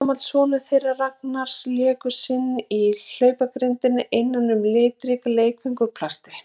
Ársgamall sonur þeirra Ragnars leikur sér í hlaupagrind innan um litrík leikföng úr plasti.